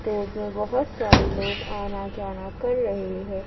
Road में बहोत सारे लोग आना जाना कर रहे हैं।